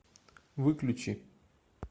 выключи